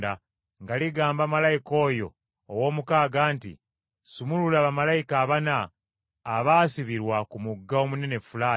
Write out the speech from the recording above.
nga ligamba malayika oyo ow’omukaaga nti, “Sumulula bamalayika abana abaasibirwa ku mugga omunene Fulaati.”